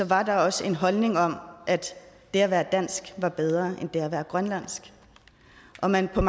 var der også en holdning om at det at være dansk var bedre end det at være grønlandsk og man har